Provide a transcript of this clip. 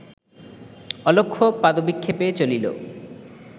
অলক্ষ্য পাদবিক্ষেপে চলিল